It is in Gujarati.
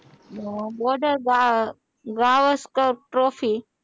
border Gavaskar trophy